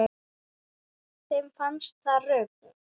Þeim fannst það rugl